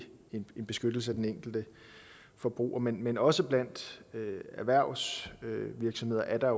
en beskyttelse af den enkelte forbruger men men også blandt erhvervsvirksomheder er der